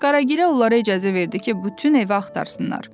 Qaragilə onlara icazə verdi ki, bütün evi axtarsınlar.